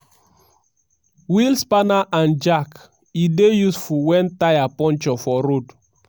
wheel spanner and jack: e dey useful wen tyre puncture for road.